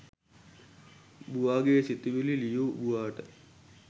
බූවා ගේ සිතුවිලි ලියූ බූවාට